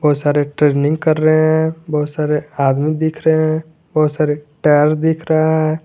बहुत सारे ट्रेनिंग कर रहे हैं बहुत सारे आदमी दिख रहे हैं बहुत सारे टायर दिख रहा है।